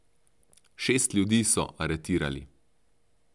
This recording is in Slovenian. Šest ljudi so aretirali.